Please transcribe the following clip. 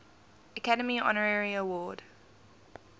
academy honorary award